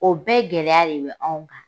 O bɛɛ gɛlɛya de be aw kan.